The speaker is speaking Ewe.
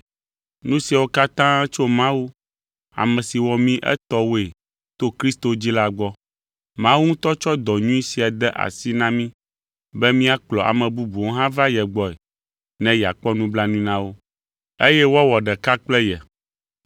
Nu siawo katã tso Mawu, ame si wɔ mí etɔwoe to Kristo dzi la gbɔ. Mawu ŋutɔ tsɔ dɔ nyui sia de asi na mí be míakplɔ ame bubuwo hã va ye gbɔe ne yeakpɔ nublanui na wo, eye woawɔ ɖeka kple ye.